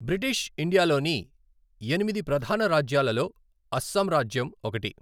British India లోని ఎనిమిది ప్రధాన రాజ్యాలలో అస్సాం రాజ్యం ఒకటి.